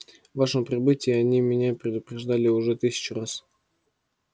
вашем прибытии они меня предупреждали уже тысячу раз